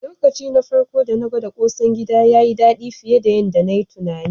Lokaci na farko dana gwada ƙosan gida, yayi daɗi fiye da yanda nayi tunani.